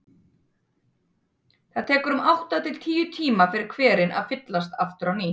Það tekur um átta til tíu tíma fyrir hverinn að fyllast aftur á ný.